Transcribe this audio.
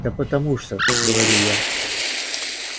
да потому что говорю я